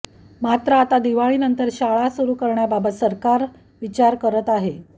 मात्र आता दिवाळीनंतर शाळा सुरू करण्याबाबत सरकार विचार करत आहे